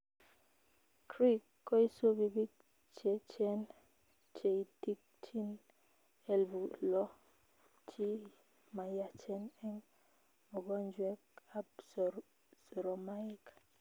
Cric koisubii biik cheechen cheitchin elpu loo che mayachen eng mogonjwet ab soromaik